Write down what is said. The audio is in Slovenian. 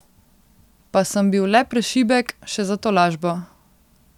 Pa sem bil le prešibek, še za tolažbo.